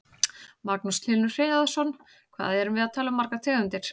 Magnús Hlynur Hreiðarsson: Hvað erum við að tala um margar tegundir?